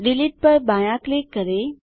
delete पर बायाँ click करें